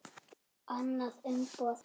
Annað umboð.